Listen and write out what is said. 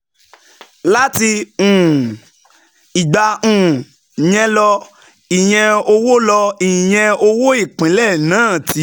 Láti um ìgbà um yẹn lọ, iye owó lọ, iye owó ìpínlẹ̀ náà ti